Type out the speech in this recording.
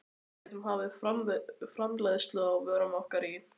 Við gætum hafið framleiðslu á vörum okkar í